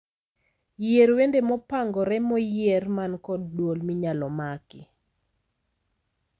Yier wende mopangore moyier man kod duol minyalo maki